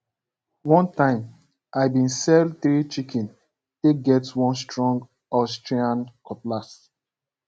one time i been sell three chicken take get one strong austrian cutlass